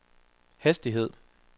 hastighed